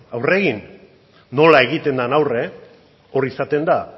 aurre egin nola egiten den aurre hori izaten da